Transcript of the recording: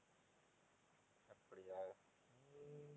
அப்படியா உம்